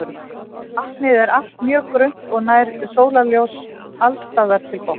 Vatnið er allt mjög grunnt og nær sólarljós alls staðar til botns.